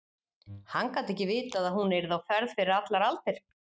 Hann gat ekki vitað að hún yrði á ferð fyrir allar aldir.